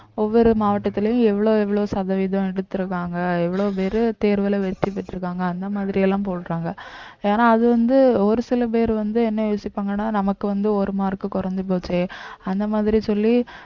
ஒவ்வொரு மாவட்டத்திலும் எவ்வளவு எவ்வளவு சதவீதம் எடுத்துருக்காங்க எவ்வளவு பேரு தேர்வுல வெற்றி பெற்றிருக்காங்க அந்த மாதிரி எல்லாம் போடுறாங்க ஏன்னா அது வந்து ஒரு சில பேர் வந்து என்ன யோசிப்பாங்கன்னா நமக்கு வந்து ஒரு mark குறைஞ்சு போச்சே அந்த மாதிரி சொல்லி